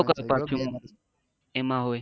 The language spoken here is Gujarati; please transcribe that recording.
એમ હોય.